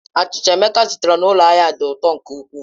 Achịcha Emeka zụtara n'ụlọ ahịa dị ụtọ nke ukwuu.